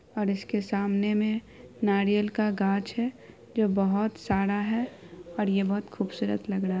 और इसके सामने में नारियल का गाछ है जो बहुत सारा है और ये बहुत खूबसूरत लग रहा है।